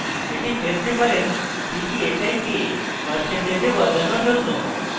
এটি phase differencedphi কে পার্সেন্টেজে বদলানোর জন্য